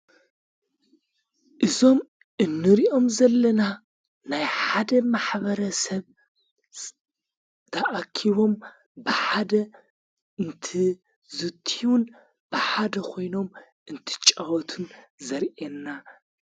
እዞም እንርእኦም ዘለና ናይ ሓደ ማኅበረሰብ ተኣኪቦም ብሓደ እንትዙትዩን ብሓደ ኾይኖም እንትጫወቱን ዘርአና፡፡